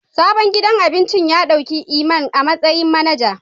Sabon gidan abincin ya dauki Iman a matsayin manager.